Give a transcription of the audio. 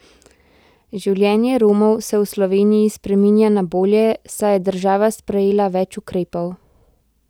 Življenje Romov se v Sloveniji spreminja na bolje, saj je država sprejela več ukrepov.